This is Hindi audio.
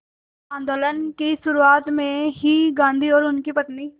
आंदोलन की शुरुआत में ही गांधी और उनकी पत्नी